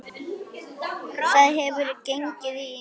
Þar hefur gengið á ýmsu.